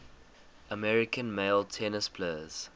american male tennis players